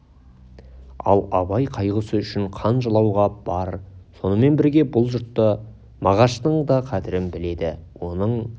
ал абай қайғысы үшін қан жылауға бар сонымен бірге бұл жұрт мағаштың да қадірін біледі оның